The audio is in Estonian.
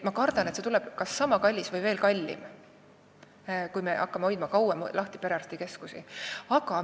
Ma kardan, et see tuleb kas sama kallis või veel kallim, kui me hakkame perearstikeskusi kauem lahti hoidma.